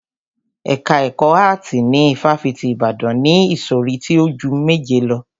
Ẹ̀ka ẹkọ áàtì ní ifáfitì Ibadan ni ìsọ̀rí tí o ju méje lọ.